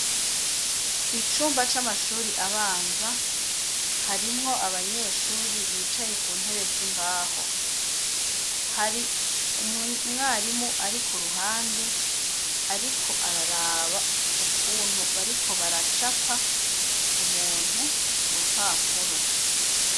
Icumba c'amashure abanza harimwo abanyeshure bicaye ku ntebe z'imbaho ,hari umwarimu ari ku ruhande ariko araraba ukuntu bariko baracapa umuntu ku rupapuro.